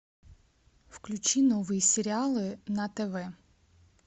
включи новые сериалы на тв